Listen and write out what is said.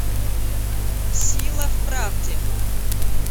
сила в правде